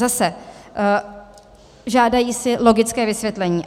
Zase žádají si logické vysvětlení.